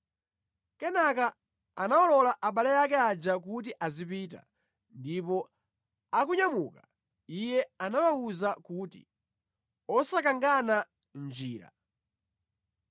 Kenaka anawalola abale ake aja kuti azipita, ndipo akunyamuka, iye anawawuza kuti, “Osakangana mʼnjira!”